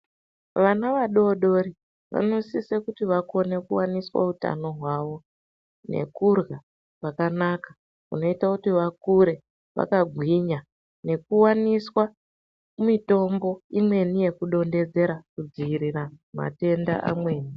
Vana vadodori vanosisa kuti vawaniswe utano hwavo. Nekudyra kwakanaka kunoita kuti vakure vakagwinya. Nekuwaniswa mitombo imweni yekudonhedzera kudziirira matenda amweni.